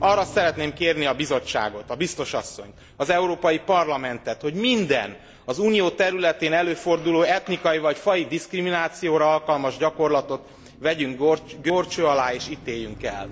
Arra szeretném kérni a Bizottságot, a Biztos asszonyt, az Európai Parlamentet, hogy minden, az Unió területén előforduló etnikai vagy faji diszkriminációra alkalmas gyakorlatot vegyünk górcső alá és ítéljünk el.